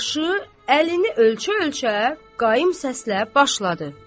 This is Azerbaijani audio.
O da başı, əlini ölçə-ölçə, qaim səslə başladı.